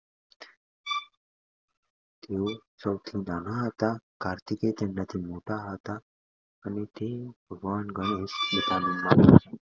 સૌથી નાના હતા કાર્તિકેતન નથી મોટા હતા અને તે ભગવાન ગણેશ